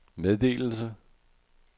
meddelelse